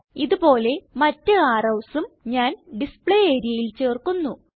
ഇത് പോലെ മറ്റ് arrowsഉം ഞാൻ ഡിസ്പ്ലേ areaയിൽ ചേർക്കുന്നു